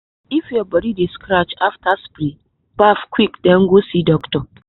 if your body dey scratch after spray baff quick den go see doctor.